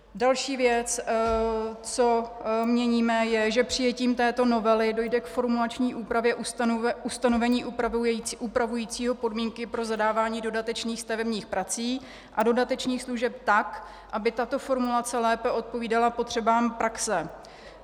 Další věc, co měníme, je, že přijetím této novely dojde k formulační úpravě ustanovení upravujícího podmínky pro zadávání dodatečných stavebních prací a dodatečných služeb tak, aby tato formulace lépe odpovídala potřebám praxe.